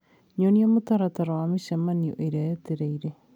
Nyonia mũtaratara wa mĩcemanio ĩrĩa yetereĩre